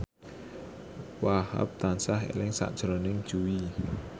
Wahhab tansah eling sakjroning Jui